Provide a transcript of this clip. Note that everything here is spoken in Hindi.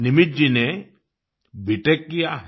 निमित जी ने बीटेक किया है